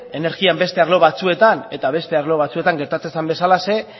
energian beste arlo batzuetan eta beste arlo batzuetan gertatu zen bezalaxe